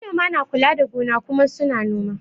Manoma na kula da gona kuma su na noma